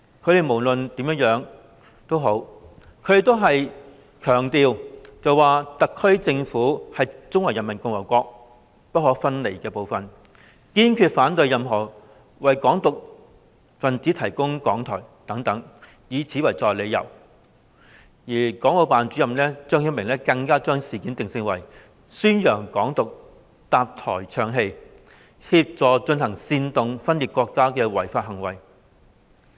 他們都強調"特區政府是中華人民共和國不可分離部分，堅決反對任何為'港獨'分子提供講台"等，以此作為理由，而國務院港澳事務辦公室主任張曉明更把事件定性，認為是為宣揚"港獨"搭台唱戲及協助進行煽動分裂國家的違法行為。